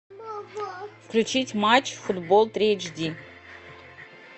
включить матч футбол три эйч ди